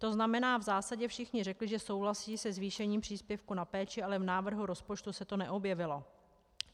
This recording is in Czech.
To znamená, v zásadě všichni řekli, že souhlasí se zvýšením příspěvku na péči, ale v návrhu rozpočtu se to neobjevilo.